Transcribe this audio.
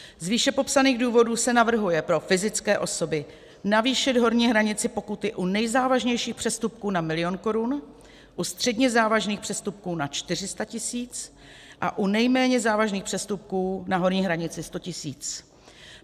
Z výše popsaných důvodů se navrhuje pro fyzické osoby navýšit horní hranici pokuty u nejzávažnějších přestupků na milion korun, u středně závažných přestupků na 400 tisíc a u nejméně závažných přestupků na horní hranici 100 tisíc.